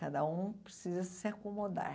Cada um precisa se acomodar.